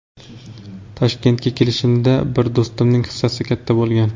Toshkentga kelishimda bir do‘stimning hissasi katta bo‘lgan.